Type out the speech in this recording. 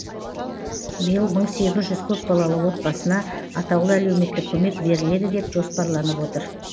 биыл мың сегіз жүз көпбалалы отбасына атаулы әлеуметтік көмек беріледі деп жоспарланып отыр